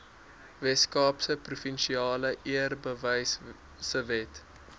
weskaapse provinsiale eerbewysewet